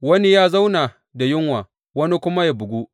Wani yă zauna da yunwa, wani kuma yă bugu.